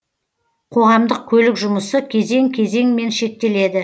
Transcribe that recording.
қоғамдық көлік жұмысы кезең кезеңмен шектеледі